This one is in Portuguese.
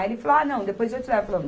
Aí, ele falou, ah, não, depois eu te levo.